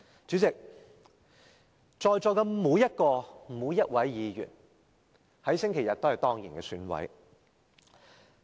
主席，在座的每一位議員，在星期日都是當然的選委。